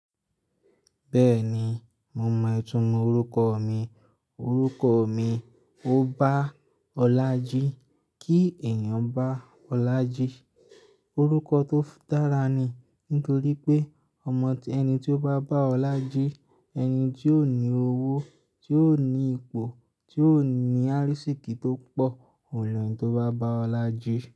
Bẹ́ẹ̀ni, mo mọ̀ ìtúmọ̀ orúkọ mi. Orúkọ mi, Obáọlájí. Kí èèyàn bá Olájí, orúkọ tó dára ni. Nítorí pé ọmọ, ẹni tí ó bá bá Olájí, ẹni tí ó ní owó, tí ó ní ipò, tí ó ní àrísíkí tó pọ̀, òní ẹni tó bá bá Olájí.